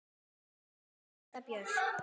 Þín systir, Linda Björk.